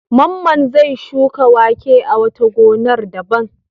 Mamman zai shuka wake a wata gonar daban.